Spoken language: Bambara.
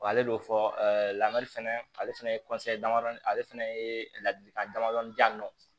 Wa ale b'o fɔ lamari fɛnɛ ale fɛnɛ ye ale fɛnɛ ye ladilikan damadɔni diyan nɔ